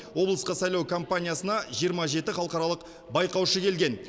облысқа сайлау кампаниясына жиырма жеті халықаралық байқаушы келген